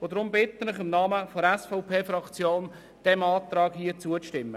Ich bitte Sie im Namen der SVP-Fraktion, diesem Antrag zuzustimmen.